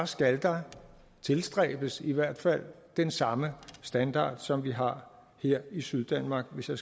skal der tilstræbes i hvert fald den samme standard som vi har her i syddanmark hvis jeg